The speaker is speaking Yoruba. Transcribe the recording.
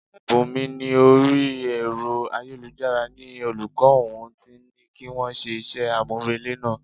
Bunmi ní orí Ẹ̀rọ ayélujára ni olùkọ́ òun ti ní kí wọ́n ṣe iṣẹ́ amurele náà.